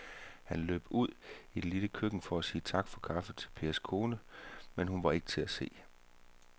Han løb ud i det lille køkken for at sige tak for kaffe til Pers kone, men hun var ikke til at se.